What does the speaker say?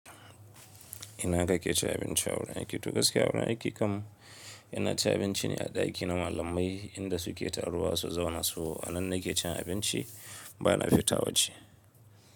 Ina ka ke cin abinci a wurin aiki? To gaskiya wurin aiki kam ina cin abinci ne a ɗaki na malamai inda su ke taruwa su zauna su a nan na ke cin abinci bana fita waje.